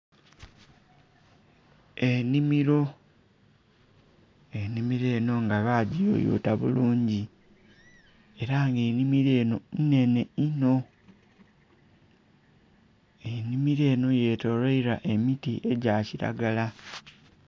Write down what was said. Enhimiro, enhimiro enho nga ba giyoyota bulungi era nga enhimiro enho nnenhe inho enhimiro enho ye tolwailwa emiti egya kilagala.